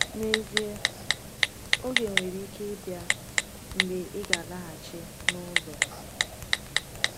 N’ezie, oge nwere ike ịbịa mgbe ị ga-alaghachi n’ụlọ.